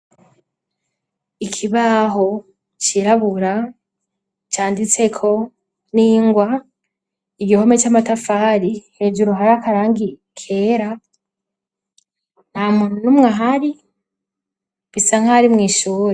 Ikibaho cirabura canditseko n'ingwa; Igihome c'amatafari, hejuru hari akarangi kera. Nta muntu n'umwe ahari bisa nkaho ari mw' ishuri.